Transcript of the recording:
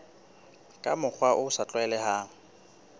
ka mokgwa o sa tlwaelehang